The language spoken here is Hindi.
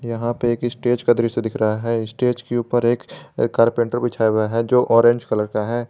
यहां पर एक स्टेज का दृश्य दिख रहा है स्टेज के ऊपर एक कारपेंटर बिछाया हुआ है जो ऑरेंज कलर का है।